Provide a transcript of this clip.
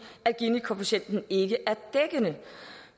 ginikoefficienten ikke er dækkende